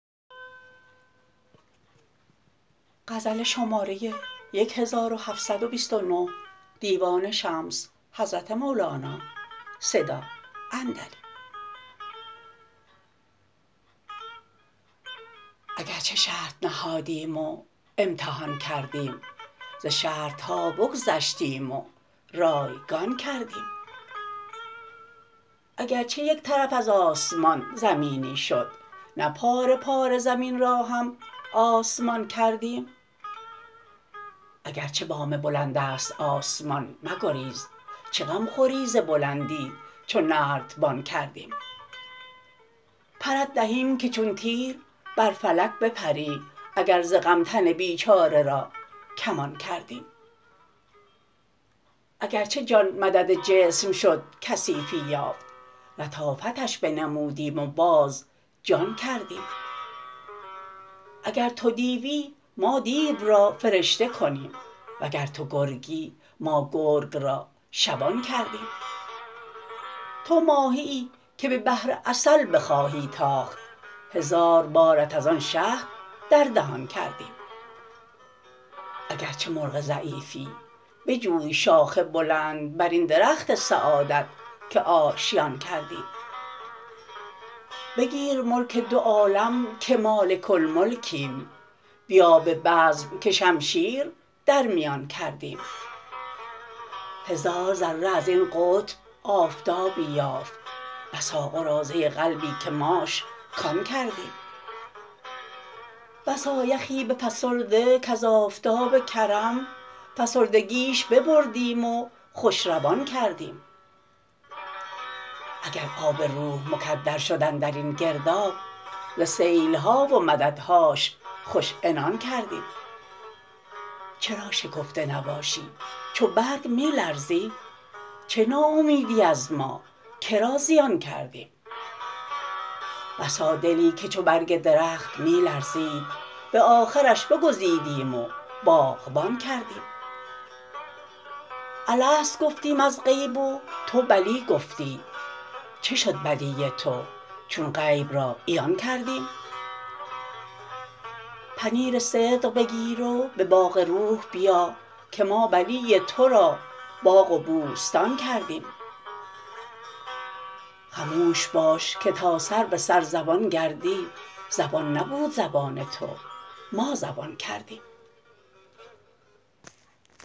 اگر چه شرط نهادیم و امتحان کردیم ز شرط ها بگذشتیم و رایگان کردیم اگر چه یک طرف از آسمان زمینی شد نه پاره پاره زمین را هم آسمان کردیم اگر چه بام بلندست آسمان مگریز چه غم خوری ز بلندی چو نردبان کردیم پرت دهیم که چون تیر بر فلک بپری اگر ز غم تن بیچاره را کمان کردیم اگر چه جان مدد جسم شد کثیفی یافت لطافتش بنمودیم و باز جان کردیم اگر تو دیوی ما دیو را فرشته کنیم وگر تو گرگی ما گرگ را شبان کردیم تو ماهیی که به بحر عسل بخواهی تاخت هزار بارت از آن شهد در دهان کردیم اگر چه مرغ ضعیفی بجوی شاخ بلند بر این درخت سعادت که آشیان کردیم بگیر ملک دو عالم که مالک الملکیم بیا به بزم که شمشیر در میان کردیم هزار ذره از این قطب آفتابی یافت بسا قراضه قلبی که ماش کان کردیم بسا یخی بفسرده کز آفتاب کرم فسردگیش ببردیم و خوش روان کردیم گر آب روح مکدر شد اندر این گرداب ز سیل ها و مددهاش خوش عنان کردیم چرا شکفته نباشی چو برگ می لرزی چه ناامیدی از ما که را زیان کردیم بسا دلی که چو برگ درخت می لرزید به آخرش بگزیدیم و باغبان کردیم الست گفتیم از غیب و تو بلی گفتی چه شد بلی تو چون غیب را عیان کردیم پنیر صدق بگیر و به باغ روح بیا که ما بلی تو را باغ و بوستان کردیم خموش باش که تا سر به سر زبان گردی زبان نبود زبان تو ما زبان کردیم